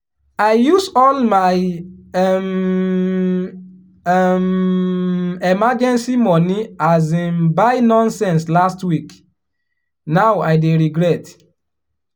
i use all my um um emergency money um buy nonsense last weekend now i dey regret.